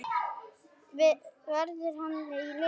Verður hann í liðinu?